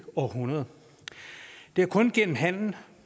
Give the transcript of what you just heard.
århundrede det er kun gennem handel